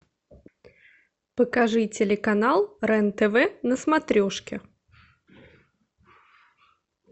покажи телеканал рен тв на смотрешке